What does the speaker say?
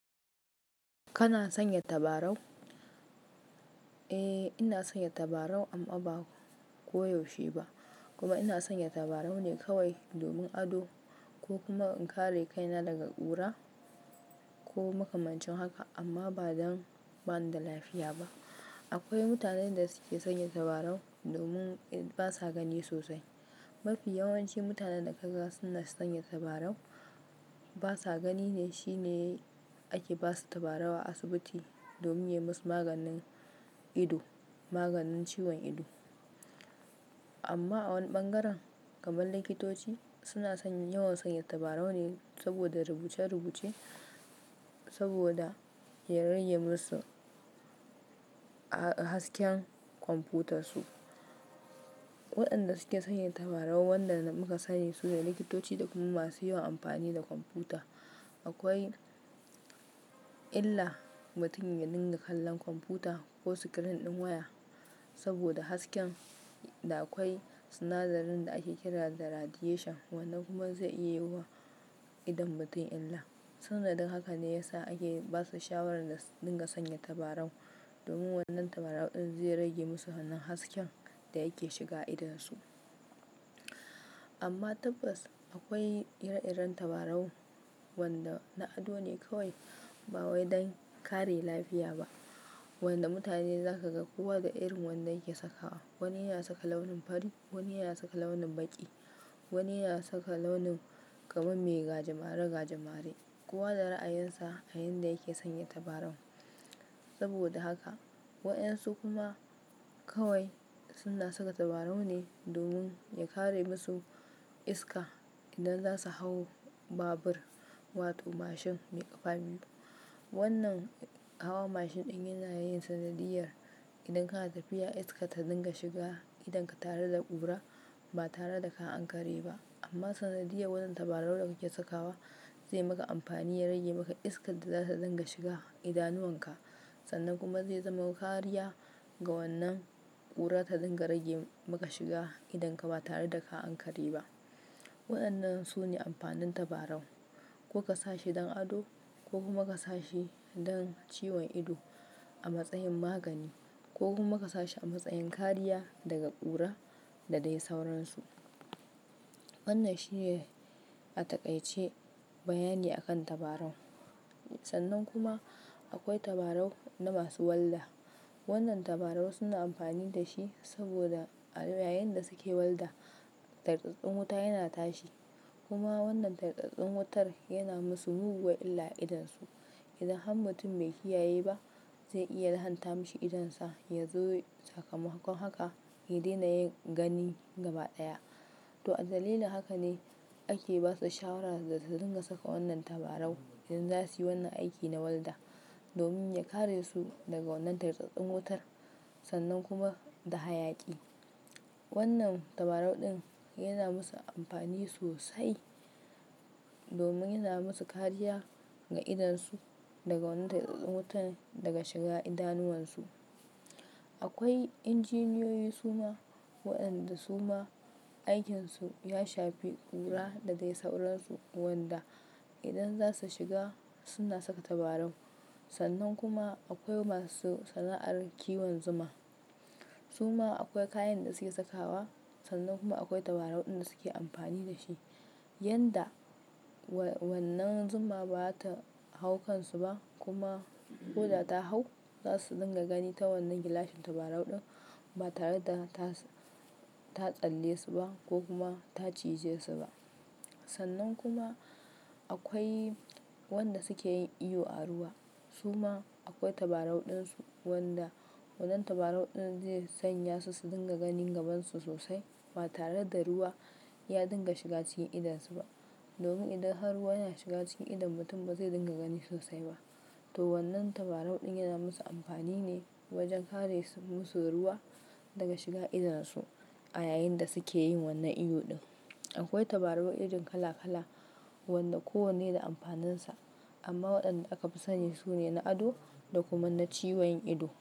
Kana sanya tabarau? Eh ina sanya tabarau amma ba ko yaushe ba. Kuma ina sanya tabarau ne kawai domin ado ko kuma in kare kaina daga ƙura ko makamancin haka amma ba dan bani da lafiya ba. Akwai mutanen da suke sanya tabarau domin basa gani sosai. Mafi yawancin mutanen da kaga suna sanya tabarau basa gani ne shine ake basu tabarau a asibiti domin yai musu maganin. Ido, maganin ciwon ido. Amma a wani ɓangaren, kamar likitoci suna sanya, yawansu sanya tabarau ne saboda rubuce-rubuce, saboda ya rage musu hasken kwamfutar su. Waɗanda suke sanya tabarau waɗanda muka sani su ne likitoci da kuma masu yawan amfani da kwamfuta. Akwai illa mutum ya dinga kallon kwamfuta ko screen ɗin waya saboda hasken da akwai sinadarin da ake kira da radiation wannan kuma zai iya yi wa idon mutum illa. Sanadin haka ne ya sa ake basu shawarar da su dinga sanya tabarau domin wannan tabarau ɗin zai rage musu wannan hasken da yake shiga idon su. Amma tabbas akwai ire-iren tabarau wanda na ado ne kawai ba wai don kare lafiya ba. Wanda mutane za ka ga kowa da irin wanda yake sakawa. Wani yana saka launin fari, wani yana saka launin baƙi, wani yana saka launin kamar mai gajimare-gajimare, kowa da ra'ayinsa a yanda yake sanya tabarau. Saboda haka waƴansu kuma kawai suna saka tabarau ne domin ya kare musu iska idan za su hau babur wato mashin mai ƙafa biyu. Wannan hawa mashin ɗin yana yin sanadiyyar idan kana tafiya iska ta dinga shiga idonka tare da ƙura ba tare da ka ankare ba. Amma sanadiyyar wannan tabarau da kake sakawa zai maka amfani ya rage maka iskar da zata dinga shiga idanuwan ka. Sannan kuma zai zama kariya ga wannan ƙura ta dinga rage maka shiga idon ka ba tare da ka ankare ba. Waɗannan su ne amfanin tabarau. Ko ka sa shi don ado, ko kuma ka sa shi dan ciwon ido a matsayin magani ko kuma ka sa shi a matsayin kariya daga ƙura da dai sauransu. Wannan shine a taƙaice bayani akan tabarau. Sannan kuma akwai tabarau na masu walda. Wannan tabarau suna amfani da shi saboda a yayin da suke walda, tartsatsin wuta yana tashi. Kuma wannan tartatsin wutar yana musu muguwar illa a idonsu. Idan har mutum mai kiyaye ba zai iya lahanta mishi idonsa ya zo sakamakon haka ya daina yin gani gaba ɗaya. To a dalilin haka ne ake basu shawara da su dinga saka wannan tabarau idan za su yi wannan aiki na walda domin ya kare su daga wannan tartsatsin wutar sannan kuma da hayaƙi. Wannan tabarau ɗin yana musu amfani sosai domin yana musu kariya Ga idon su daga wannan tartsatsin wutar daga shiga idanuwan su. Akwai injiniyoyi su ma waɗanda su ma aikin su ya shafi ƙura da dai sauransu wanda idan za su shiga suna saka tabarau. Sannan kuma akwai masu sana'ar kiwon zuma. Su ma akwai kayan da suke sakawa sannan kuma akwai tabarau ɗin da suke amfani da shi. Yanda wannan zuma ba za ta hau kansu ba, kuma ko da ta hau, za su dinga gani ta wannan gilashin tabarau ɗin ba tare da ta, ta tsalle su ba ko kuma ta cije su ba. Sannan kuma akwai wanda suke yin iyo a ruwa. Su ma akwai tabarau ɗin su wanda wannan tabarau ɗin zai sanya su su dinga ganin gaban su sosai ba tare da ruwa ya dinga shiga cikin idonsu ba. Domin idan har ruwa yana shiga cikin idon mutum ba zai dinga gani sosai ba. To wannan tabarau ɗin yana musu amfani ne wajen kare su, musu ruwa daga shiga idonsu a yayin da suke yin wannan iyo ɗin. Akwai tabarau irin kala-kala wanda kowanne da amfaninsa amma waɗanda aka fi sani su ne na ado, da kuma na ciwon ido.